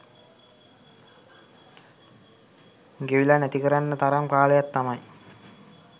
ගෙවිලා නැති කරන්න තරම් කාලයක් තමයි